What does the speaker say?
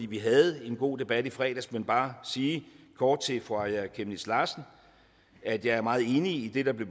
vi havde en god debat i fredags men bare sige kort til fru aaja chemnitz larsen at jeg er meget enig i det der blev